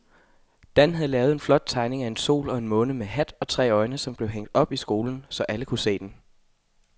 Dan havde lavet en flot tegning af en sol og en måne med hat og tre øjne, som blev hængt op i skolen, så alle kunne se den.